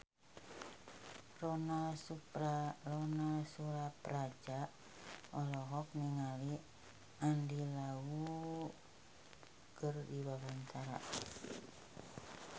Ronal Surapradja olohok ningali Andy Lau keur diwawancara